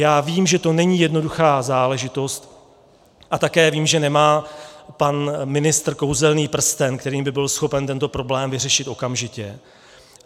Já vím, že to není jednoduchá záležitost, a také vím, že nemá pan ministr kouzelný prsten, kterým by byl schopen tento problém vyřešit okamžitě.